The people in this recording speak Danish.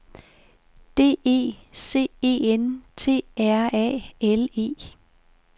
D E C E N T R A L E